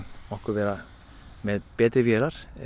okkur vera með betri vélar